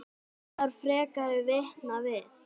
Þarf frekari vitna við?